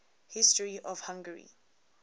history of hungary